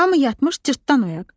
Hamı yatmış, Cırtdan oyaq.